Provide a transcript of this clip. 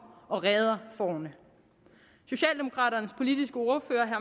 og redder fårene socialdemokraternes politiske ordfører